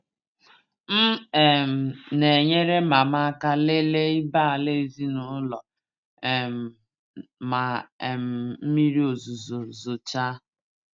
M um na-enyere mama aka lele ibé-ala ezinụlọ um ma um mmiri ozuzo zochaa.